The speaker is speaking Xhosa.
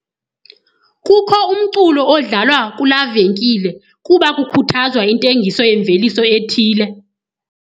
Kukho umculo odlalwa kulaa venkile kuba kukhuthazwa intengiso yemveliso ethile.